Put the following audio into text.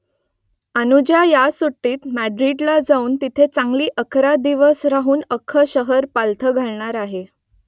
अनुजा ह्या सुट्टीत माद्रिदला जाऊन तिथे चांगली अकरा दिवस राहून अख्खं शहर पालथं घालणार आहे